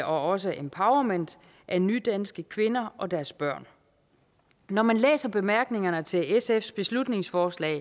også empowerment af nydanske kvinder og deres børn når man læser bemærkningerne til sfs beslutningsforslag